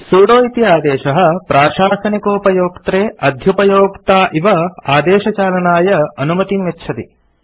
sudo इति आदेशः प्राशासनिकोपयोक्त्रे अध्युपयोक्ता इव आदेशचालनाय अनुमतिं यच्छति